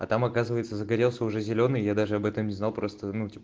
а там оказывается загорелся уже зелёный я даже об этом не знал просто ну типа